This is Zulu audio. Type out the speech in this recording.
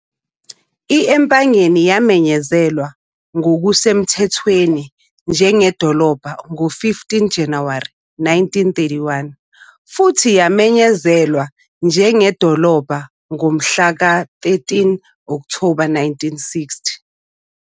I-Empangeni yamenyezelwa ngokusemthethweni njengedolobha ngo-15 January 1931 futhi yamenyezelwa njengedolobha ngomhla ka-13 October 1960.